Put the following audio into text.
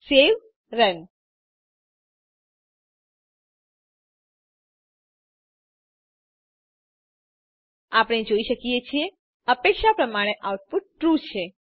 save run આપણે જોઈ શકીએ છીએ અપેક્ષા પ્રમાણે આઉટપુટ ટ્રૂ છે